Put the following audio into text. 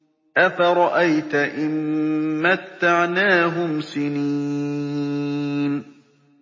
أَفَرَأَيْتَ إِن مَّتَّعْنَاهُمْ سِنِينَ